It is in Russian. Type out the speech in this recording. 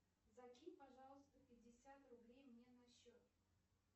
закинь пожалуйста пятьдесят рублей мне на счет